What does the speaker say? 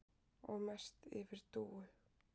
Og mest yfir Dúu.